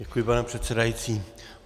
Děkuji, pane předsedající.